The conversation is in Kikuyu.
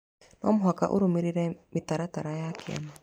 No mũhaka ũrũmĩrĩre mĩtaratara ya kĩama